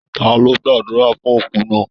Ta lo gbàdúrà fún òkú náà?